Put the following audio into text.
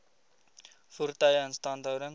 voertuie instandhouding